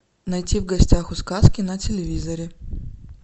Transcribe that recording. найти в гостях у сказки на телевизоре